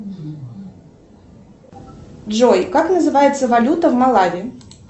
джой как называется валюта в малави